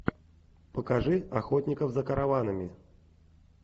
покажи охотников за караванами